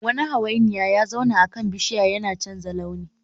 Wani hawainiya ya zauna akan bishiya yana canza launi